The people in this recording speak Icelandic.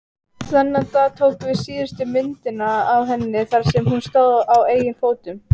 Þennan dag tókum við síðustu myndina af henni þar sem hún stóð á eigin fótum.